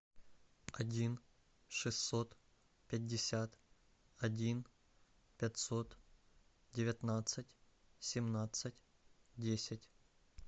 один шестьсот пятьдесят один пятьсот девятнадцать семнадцать десять